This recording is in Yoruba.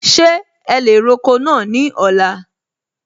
Ṣe ẹ lè roko náà ní ọ̀la?